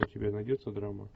у тебя найдется драма